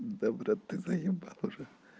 да брат ты заебал уже